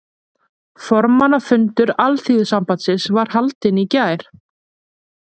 Formannafundur Alþýðusambandsins var haldinn í gær